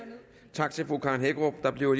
tak til fru karen hækkerup der bliver